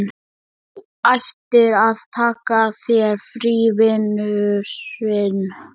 Þú ættir að taka þér frí, vinurinn.